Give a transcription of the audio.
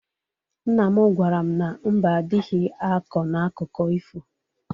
Nna m gwara m na mbe adịghị akọ n'akụkụ ifo.